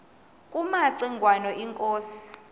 kumaci ngwana inkosi